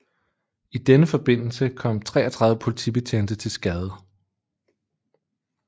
I denne forbindelse kom 33 politibetjente til skade